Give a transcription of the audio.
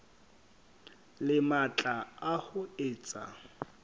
le matla a ho etsa